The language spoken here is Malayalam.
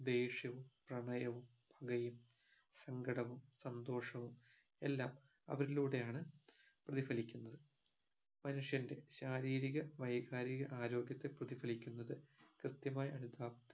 ദേഷ്യവും പ്രണയവും പകയും സങ്കടവും സന്തോഷവും എല്ലാം അവരിലൂടെയാണ് പ്രതിഫലിക്കുന്നത് മനുഷ്യന്റെ ശാരീരിക വൈകാരിക ആരോഗ്യത്തെ പ്രതിഫലിക്കുന്നത് കൃത്യമായി അനുതാ